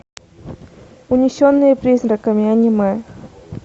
унесенные призраками аниме